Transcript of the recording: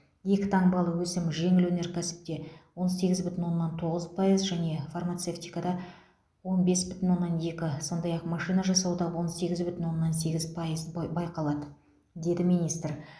екі таңбалы өсім жеңіл өнеркәсіпте он сегіз бүтін оннан тоғыз пайыз және фармацевтикада он бес бүтін оннан екі сондай ақ машина жасауда он сегіз бүтін оннан сегіз пайыз байқалады деді министр